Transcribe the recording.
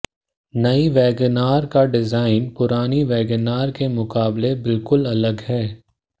नई Wagon R का design पुरानी वैगन आर के मुकाबले बिल्कुल अलग है